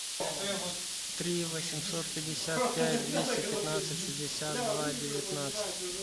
три восемьсот пятьдесят пять двести пятнадцать шестьдесят два девятнадцать